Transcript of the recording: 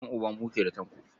Ƴan'uba muke da Tanko.